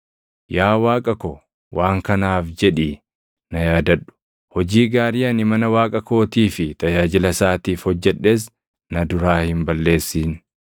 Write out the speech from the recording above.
Yaa Waaqa ko, waan kanaaf jedhii na yaadadhu; hojii gaarii ani mana Waaqa kootii fi tajaajila isaatiif hojjedhes na duraa hin balleessin.